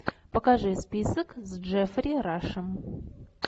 покажи список с джеффри рашем